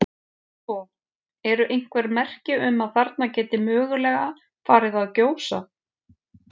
Sko, eru einhver merki um að þarna geti mögulega farið að gjósa?